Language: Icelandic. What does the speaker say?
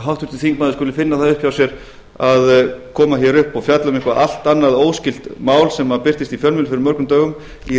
háttvirtur þingmaður skuli finna það upp hjá sér að koma hér upp og fjalla um eitthvað allt annað og óskylt mál sem birtist í fjölmiðlum fyrir mörgum dögum í